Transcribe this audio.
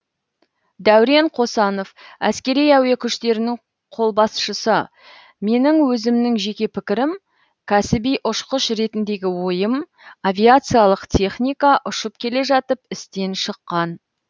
дәурен қосанов әскери әуе күштерінің қолбасшысы менің өзімнің жеке пікірім кәсіби ұшқыш ретіндегі ойым авиациялық техника ұшып келе жатып істен шыққан